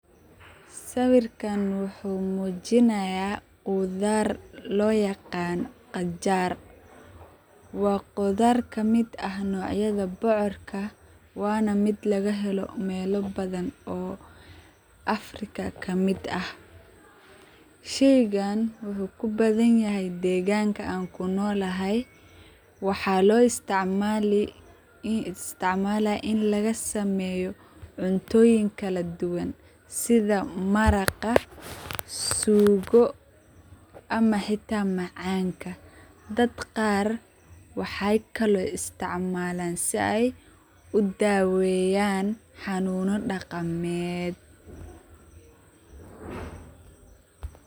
Saweerkan waxu mujinaya, quthar lo yaqanoh qajaar , wa quthar kamit ah nocyatha bocorka Wana meet laga heloh meela bathan oo Afrika kameet ah, sheyagan waxu kubathanyah degan, deganga an kunolahay, waxa lo isticmalah ini laga sameeyoh, cuntoyin kala duwan, setha maraqaa suugo, amah xata macanga dad Qaar, waxaykolo isticmalaan sibay u daweeyan xanuna daqemeet .